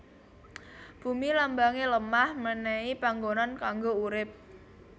Bumi Lambange lemah menehi panggonan kanggo urip